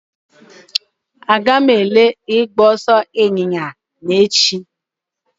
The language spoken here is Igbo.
Agaghị m ele ịgba ọsọ ịnyịnya echi